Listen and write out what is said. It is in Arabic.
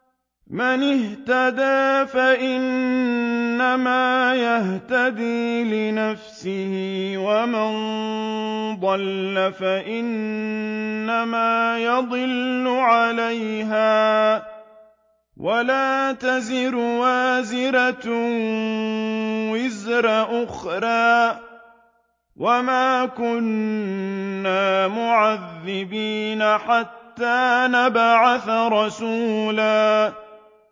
مَّنِ اهْتَدَىٰ فَإِنَّمَا يَهْتَدِي لِنَفْسِهِ ۖ وَمَن ضَلَّ فَإِنَّمَا يَضِلُّ عَلَيْهَا ۚ وَلَا تَزِرُ وَازِرَةٌ وِزْرَ أُخْرَىٰ ۗ وَمَا كُنَّا مُعَذِّبِينَ حَتَّىٰ نَبْعَثَ رَسُولًا